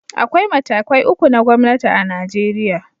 Akwai matakai uku na gwamnati a Najeriya